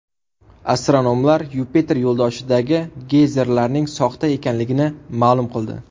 Astronomlar Yupiter yo‘ldoshidagi geyzerlarning soxta ekanligini ma’lum qildi.